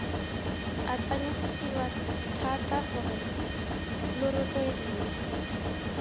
atlanegisiwa thata gore lo rotloediwe